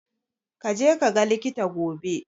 Ka je kaga likita gobe.